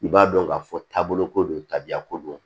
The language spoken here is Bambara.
I b'a dɔn ka fɔ taabolo ko don tabiya ko don